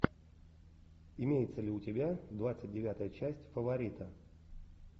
имеется ли у тебя двадцать девятая часть фаворита